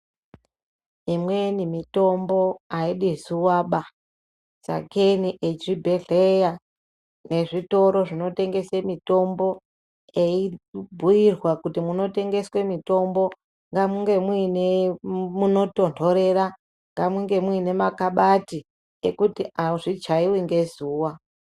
Imweni mitombo aidi zuvaba sakeyi vamweni vezvibhehleya, vezvitoro zvinotengese mitombo veyibhuyirwa kuzi munotengese mitombo ngamunge muine munotondorera, ngamunge muine mune makabati ekuti azvichaivi ngezuva.